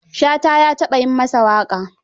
Shata ya taɓa yi masa waƙa.